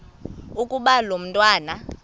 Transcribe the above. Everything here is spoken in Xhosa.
ukuba lo mntwana